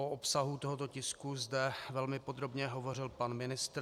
O obsahu tohoto tisku zde velmi podrobně hovořil pan ministr.